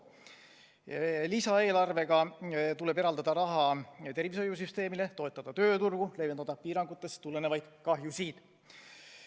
Lisaeelarvega tuleb eraldada raha tervishoiusüsteemile, toetada tööturgu, leevendada piirangutest tulenevaid kahjusid.